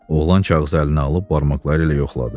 Oğlan kağızı əlinə alıb barmaqları ilə yoxladı.